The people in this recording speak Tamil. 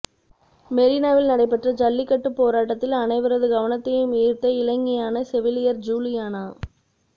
மெரினாவில் நடைபெற்ற ஜல்லிகட்டுப் போராட்டத்தில் அனைவரது கவனத்தையும் ஈர்த்த இளைஞியான செவிலியர் ஜூலியனா